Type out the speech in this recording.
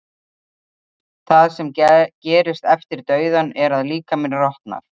það sem gerist eftir dauðann er að líkaminn rotnar